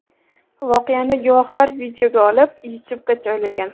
Voqeani guvohlar videoga olib YouTube’ga joylagan .